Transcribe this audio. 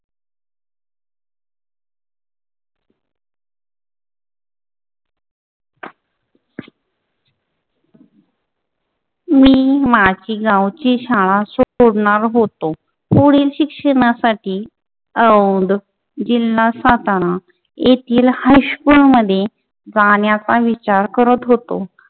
मी माझी गावची शाळा सोडणार होतो. पुढील शिक्षणासाठी औंध जिल्हा सातारा येथील हायस्कूल मध्ये जाण्याचा विचार करत होतो.